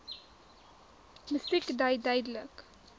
musiek dui duidelik